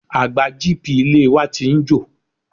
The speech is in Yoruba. Àgbá GP ilé e wa ti ń jò.